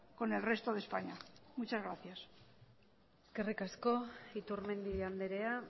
con el resto de españa muchas gracias eskerrik asko iturmendi andrea